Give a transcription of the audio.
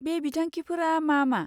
बे बिथांखिफोरा मा मा?